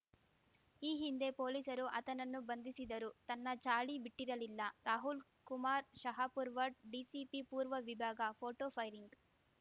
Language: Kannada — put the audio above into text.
ಈ ಹಿಂದೆ ಪೊಲೀಸರು ಆತನನ್ನು ಬಂಧಿಸಿದರೂ ತನ್ನ ಚಾಳಿ ಬಿಟ್ಟಿರಲಿಲ್ಲ ರಾಹುಲ್‌ಕುಮಾರ್‌ ಶಹಾಪುರ್‌ವಡ್‌ ಡಿಸಿಪಿ ಪೂರ್ವ ವಿಭಾಗ ಫೋಟೋಫೈರಿಂಗ್‌